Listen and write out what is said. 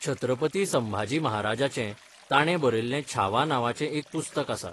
छत्रपती संभाजी महाराजाचें, ताणें बरयल्लें छावा नांवाचें एक पुस्तक आसा.